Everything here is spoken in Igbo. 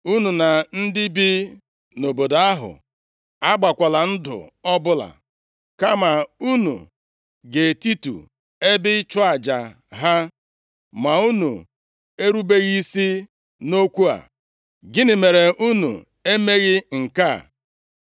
unu na ndị bi nʼobodo ahụ agbakwala ndụ ọbụla, kama unu ga-etitu ebe ịchụ aja ha.’ Ma unu erubeghị isi nʼokwu a, gịnị mere unu emeghị nke a?